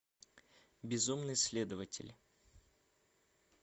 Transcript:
безумный следователь